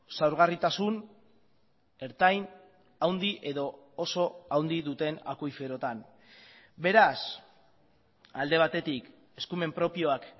zaurgarritasun ertain handi edo oso handi duten akuiferotan beraz alde batetik eskumen propioak